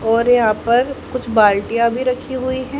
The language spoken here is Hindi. और यहां पर कुछ बाल्टिया भी रखी हुई हैं।